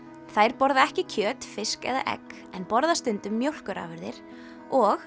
þær borða ekki kjöt fisk eða egg en borða stundum mjólkurafurðir og